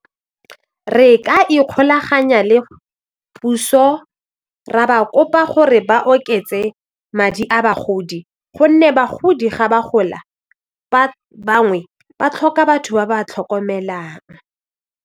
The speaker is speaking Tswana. Re ka ikgolaganya le puso ra ba kopa gore ba oketse madi a bagodi gonne bagodi ga ba gola ba bangwe ba tlhoka batho ba ba tlhokomelang.